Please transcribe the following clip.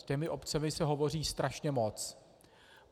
S těmi obcemi se hovoří strašně moc.